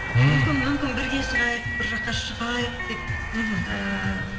мүмкін бірге шығайық бір жаққа шығайық деп мхм ііі